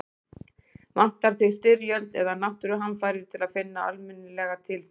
Vantar þig styrjöld eða náttúruhamfarir til að finna almennilega til þín?